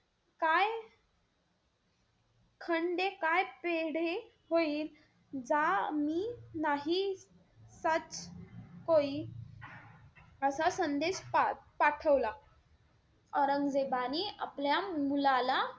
खंडे काय पेढे होईल जा मी नाही जात असा संदेश पाठवला. औरंगजेबाने आपल्या मुलाला,